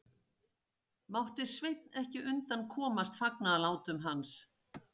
Mátti Sveinn ekki undan komast fagnaðarlátum hans.